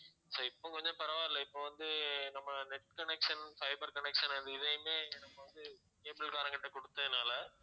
so இப்ப கொஞ்சம் பரவாயில்ல இப்ப வந்து நம்ம net connection fiber connection அது இதயுமே நம்ம வந்து cable காரங்க கிட்ட குடுத்ததனால